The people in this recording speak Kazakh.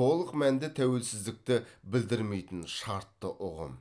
толық мәнді тәуелсіздікті білдірмейтін шартты ұғым